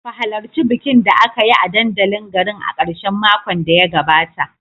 Ku halarci bikin da aka yi a dandalin garin a karshen makon da ya gabata